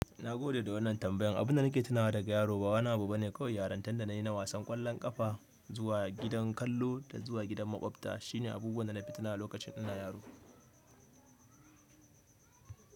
Nagode da wannan tambayan, abinda nake tunawa da ga yaro ba wani abu bane, kawai yarantan da nayi na wasan kwallon kafa zuwa gidan kallo da zuwa gidan makwabta shi ne abubuwan da nafi tunawa a lokacin ina yaro.